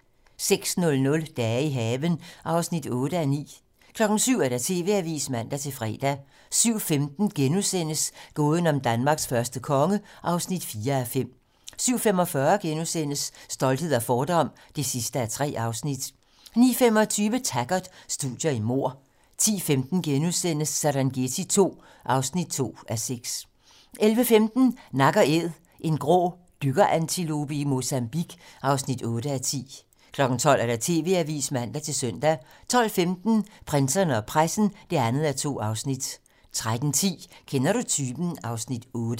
06:00: Dage i haven (8:9) 07:00: TV-Avisen (man-fre) 07:15: Gåden om Danmarks første konge (4:5)* 07:45: Stolthed og fordom (3:3)* 09:25: Taggart: Studier i mord 10:15: Serengeti II (2:6)* 11:15: Nak & Æd - en grå dykkerantilope i Mozambique (8:10) 12:00: TV-Avisen (man-søn) 12:15: Prinserne og pressen (2:2) 13:10: Kender du typen? (Afs. 8)